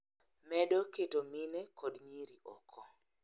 Medo keto mine kod nyiri oko.